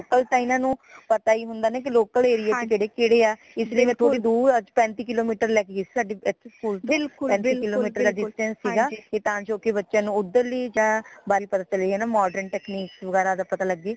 ਤਾ ਇਨਾ ਨੂੰ ਪਤਾ ਹੀ ਹੁੰਦਾ ਕਿ local area ਚਕੇਡੇ ਕੇਡੇ ਹਾ ਇਸ ਲਈ ਥੋੜੀ ਦੂਰ ਪੈਂਤੀ kilometer ਲੈਕੇ ਗਈ ਸਾਡੇ ਏਥੇ ਸਕੂਲ ਚ ਪੈਂਤੀ kilometer ਦਾ distance ਸੀਗਾ ਤਾ ਬੱਚਿਆਂ ਨੂ ਓਦਰ ਦੀਯਾਆ ਗੱਲ ਕਰਤਾ ਰਹੇ ਹੈ modern technique ਬਾਰੇ ਪਤਾ ਲਗੇ